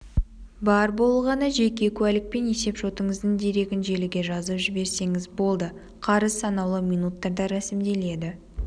бар болғаны жеке куәлік пен есеп-шотыңыздың дерегін желіге жазып жіберсеңіз болды қарыз санаулы минуттарда рәсімделеді